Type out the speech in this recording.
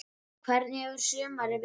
Hvernig hefur sumarið verið?